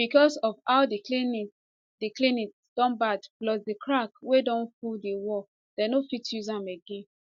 becos of how di clinic di clinic don bad plus di cracks wey don full di walls dem no fit use am again